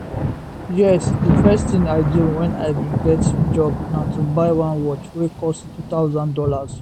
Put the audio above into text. yes di first tin i do when i bin get job na to buy one watch wey cost us2000